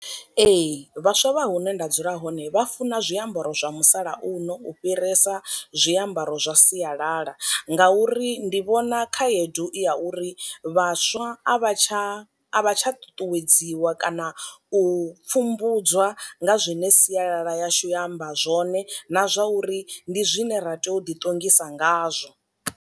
Ee vhaswa vha hune nda dzula hone vha funa zwiambaro zwa musalauno u fhirisa zwi ambaro zwa sialala nga uri ndi vhona khaedu i ya uri vhaswa a a vha tsha a vha tsha ṱuṱuwedziwa kana u pfumbudzwa nga zwine sialala yashu ya amba zwone na zwa uri ndi zwine ra tea u ḓi ṱongisa ngazwo.